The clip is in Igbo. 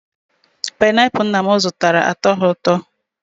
Pineapul nna m zụtara, atoghi ụtọ